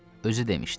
Özü demişdi.